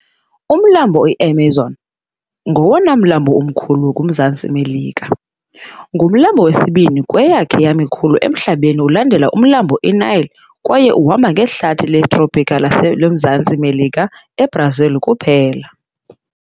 Umlambi iAmazon ngowona mlambo mkhulu kumZantsi Melika. Ngumlambo wesibini kweyakhe yamikhulu emhlabeni ulandela umlambo iNile kwaye uhamba ngehlathi letrophika lasemZantsi Melika, eBrazil kuphela.